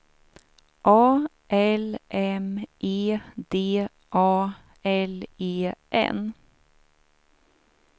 A L M E D A L E N